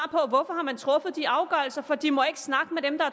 på de afgørelser for de må ikke snakke med dem der